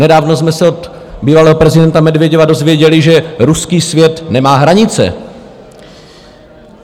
Nedávno jsme se od bývalého prezidenta Medveděva dozvěděli, že ruský svět nemá hranice.